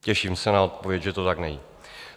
Těším se na odpověď, že to tak není.